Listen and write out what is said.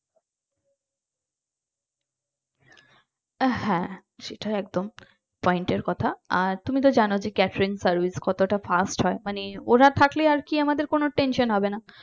আহ হ্যাঁ সেটা একদম point এর কথা আর তুমি তো জানো যে catering service কতটা fast হয় মানে ওরা থাকলে আর কি আমাদের কোন tension হবে না